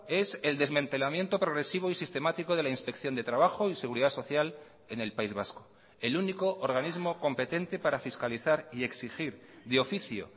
es el desmantelamiento progresivo y sistemático de la inspección de trabajo y seguridad social en el país vasco el único organismo competente para fiscalizar y exigir de oficio